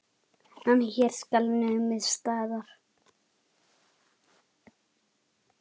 En hér skal numið staðar.